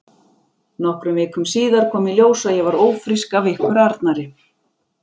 Nokkrum vikum síðar kom í ljós að ég var ófrísk af ykkur Arnari.